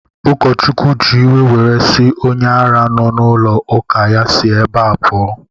Ụkọchukwu ji iwe were sị onye ara nọ n'ụlọ ụka ya si ebea pụọ!